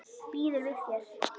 Býður við þér.